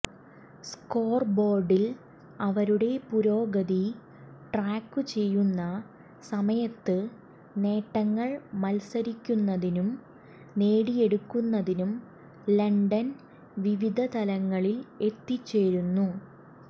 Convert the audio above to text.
സ്കോർബോർഡിൽ അവരുടെ പുരോഗതി ട്രാക്കുചെയ്യുന്ന സമയത്ത് നേട്ടങ്ങൾ മത്സരിക്കുന്നതിനും നേടിയെടുക്കുന്നതിനും ലണ്ടൻ വിവിധ തലങ്ങളിൽ എത്തിച്ചേരുന്നു